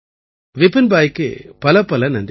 விபின் பாயிக்கு பலப்பல நன்றிகள்